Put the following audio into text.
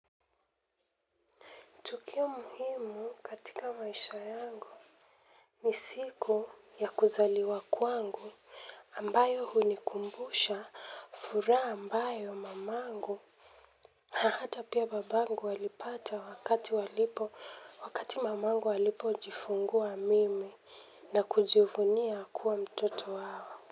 Tukio muhimu katika maisha yangu, ni siku ya kuzaliwa kwangu ambayo hunikumbusha furaha ambayo mamangu. Na hata pia babangu alipata wakati walipo wakati mamangu alipo jifungua mimi na kujivunia kuwa mtoto wao.